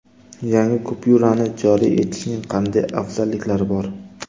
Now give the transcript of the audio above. Yangi kupyurani joriy etishning qanday afzalliklari bor?